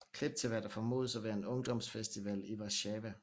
Klip til hvad der formodes at være en ungdomsfestival i Warszawa